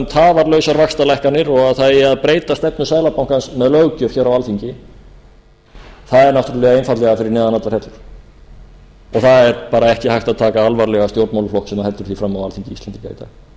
tafarlausar vaxtalækkanir og það eigi að breyta stefnu seðlabankans með löggjöf á alþingi er náttúrlega einfaldlega fyrir neðan allar hellur og það er ekki hægt að taka alvarlega stjórnmálaflokk sem heldur því fram á alþingi íslendinga í dag